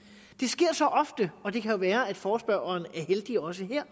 det sker så ofte og det kan jo være at forespørgerne er heldige også her